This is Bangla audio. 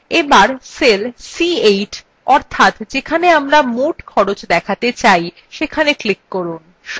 এবার cell c8 অর্থাৎ যেখানে আমরা মোট খরচ দেখাতে চাই সেখানে click করুন